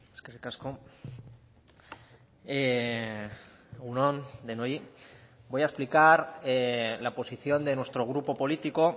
eskerrik asko egun on denoi voy a explicar la posición de nuestro grupo político